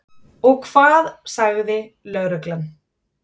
Og hvað sagði lögreglan?